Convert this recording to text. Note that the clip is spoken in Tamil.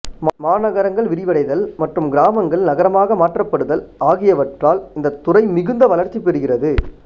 மாநகரங்கள் விரிவடைதல் மற்றும் கிராமங்கள் நகரமாக மாற்றப்படுதல் ஆகியவற்றால் இந்தத் துறை மிகுந்த வளர்ச்சிபெறுகிறது